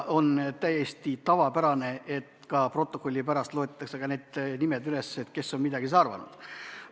On täiesti tavapärane, et ka protokollist loetakse need nimed ette, kes on midagi arvanud.